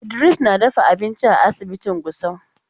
Idiris na dafa abinci a asibitin Gusau.